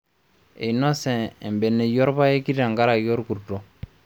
Einose embeneyio orpayeki tenkaraki olkurto